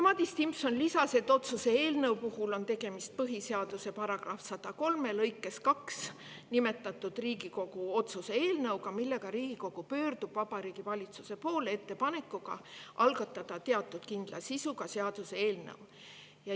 Madis Timpson lisas, et selle eelnõu puhul on tegemist põhiseaduse § 103 lõikes 2 nimetatud Riigikogu otsuse eelnõuga, millega Riigikogu pöördub Vabariigi Valitsuse poole ettepanekuga algatada kindla sisuga seaduseelnõu.